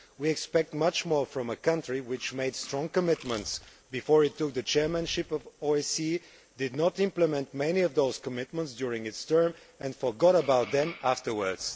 We expect much more from a country which made strong commitments before it took the chairmanship of the OSCE, did not implement many of those commitments during its term and forgot about them afterwards.